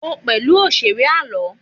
o pẹlú òṣèré àlọ